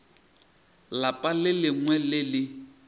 lapa le lengwe le le